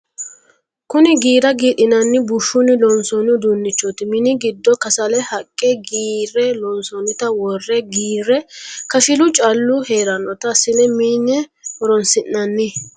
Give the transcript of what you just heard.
Kuni giira giidhinanni bushuni loonsonni uduunchoti mini giddo kasale haqqe qiire loonsonnitta wore giire kashilu callu heeranotta assine mine horonsi'nanni.